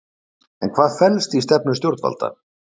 En hvað felst í stefnu stjórnvalda?